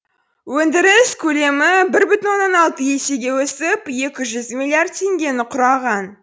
өндіріс көлемі бір бүтін онан алты есеге өсіп екі жұз миллиард теңгені құраған